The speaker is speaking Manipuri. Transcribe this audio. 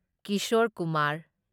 ꯀꯤꯁꯣꯔ ꯀꯨꯃꯥꯔ